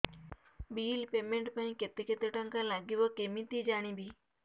bill payment ପାଇଁ କେତେ କେତେ ଟଙ୍କା ଲାଗିବ କେମିତି ଜାଣିବି